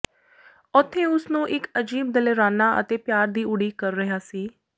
ਉੱਥੇ ਉਸ ਨੂੰ ਇੱਕ ਅਜੀਬ ਦਲੇਰਾਨਾ ਅਤੇ ਪਿਆਰ ਦੀ ਉਡੀਕ ਕਰ ਰਿਹਾ ਸੀ